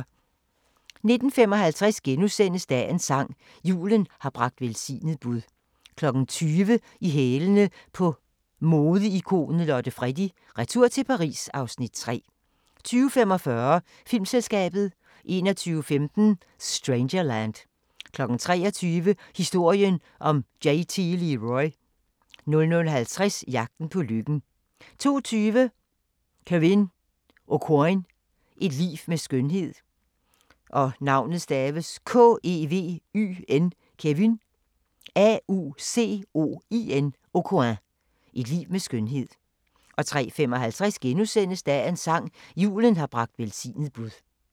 19:55: Dagens sang: Julen har bragt velsignet bud * 20:00: I hælene på modeikonet Lotte Freddie: Retur til Paris (Afs. 3) 20:45: Filmselskabet 21:15: Strangerland 23:00: Historien om JT Leroy 00:50: Jagten på lykken 02:20: Kevyn Aucoin – et liv med skønhed 03:55: Dagens sang: Julen har bragt velsignet bud *